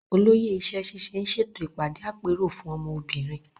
Olóyè iṣẹ́ ṣíṣe ń ṣètò ìpàdé àpérò fún ọmọ obìnrin.